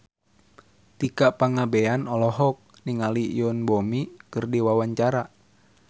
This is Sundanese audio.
Tika Pangabean olohok ningali Yoon Bomi keur diwawancara